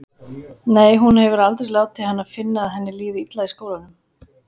Nei, hún hefur aldrei látið hana finna að henni líði illa í skólanum.